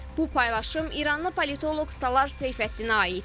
Bu paylaşım İranlı politoloq Salar Seyfəddinə aiddir.